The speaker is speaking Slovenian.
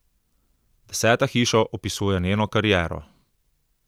Deseta hiša opisuje njeno kariero.